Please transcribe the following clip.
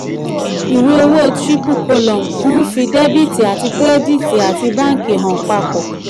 iwe owo triple column nfi debiti kirediti ati banki han papo.